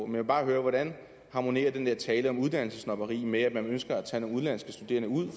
vil bare høre hvordan harmonerer den der tale om uddannelsessnobberi med at man ønsker at tage nogle udenlandske studerende ud